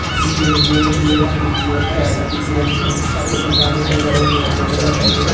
इस इमेज में मुझे एक टी.वी.एस गाड़ी दिख रही है जो की काले कलर और लाल कलर की है।